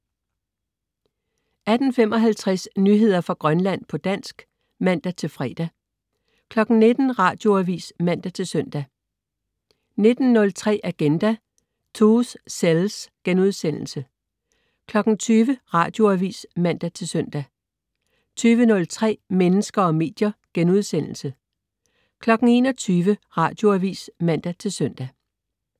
18.55 Nyheder fra Grønland på dansk (man-fre) 19.00 Radioavis (man-søn) 19.03 Agenda: Truth sells!* 20.00 Radioavis (man-søn) 20.03 Mennesker og medier* 21.00 Radioavis (man-søn)